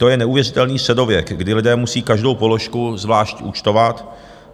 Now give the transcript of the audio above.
To je neuvěřitelný středověk, kdy lidé musí každou položku zvlášť účtovat.